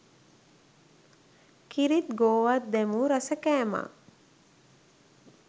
කිරිත් ගෝවත් දැමූ රස කෑමක්